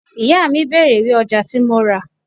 Ìyá mi bèrè ìwé ọjà tí mo ra.